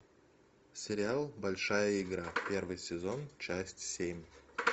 сериал большая игра первый сезон часть семь